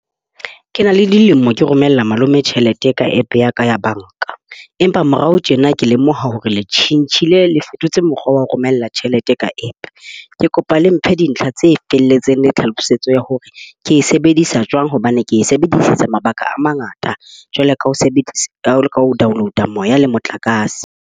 Ke na le dilemo ke romella malome tjhelete ka App ya ka ya banka. Empa morao tjena ke lemoha hore le tjhentjhile, le fetotse mokgwa wa ho romela tjhelete ka App. Ke kopa le mphe dintlha tse felletseng le tlhalosetso ya hore ke e sebedisa jwang hobane ke e sebedisetsa mabaka a mangata, jwalo ka ho sebedisa ka ho download a moya le motlakase.